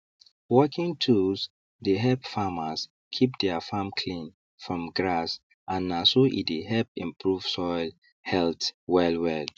working tools dey help farmers keep their farm clean from grass and na so e dey help improve soil health wellwell